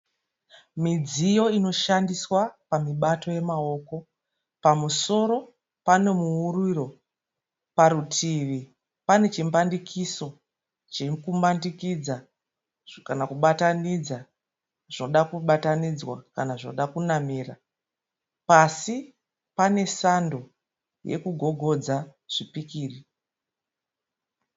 Midziyo inoshandiswa pamubato yemaoko. Pamusoro pane muuriro. Parutivi pane chimbandikiso Chiri kumbandikidza kana kubatinidza zvoda kubatanidzwa kana zvonoda kunamira. Pasi pane sando yokugogodza zvipikiri.